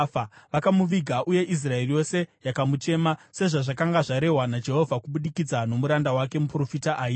Vakamuviga, uye Israeri yose yakamuchema, sezvazvakanga zvarehwa naJehovha kubudikidza nomuranda wake muprofita Ahija.